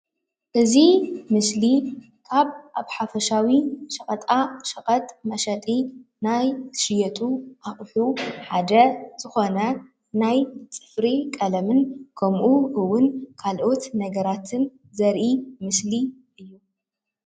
እዚ ምስሊ ኣብ ሓፈሻዊ ሸቐጣ ሸቐጥ መሸጢ ናይ ዝሽየጡ ኣቑሑ ሓደ ዝኾነ ናይ ፅፍሪ ቀለምን ከምኡ እውን ካልኦት ነገራትን ዘሪኢ ምስሊ እዩ።